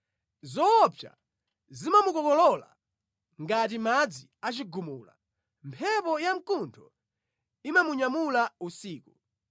Zoopsa zimamukokolola ngati madzi achigumula; mphepo yamkuntho imamunyamula usiku.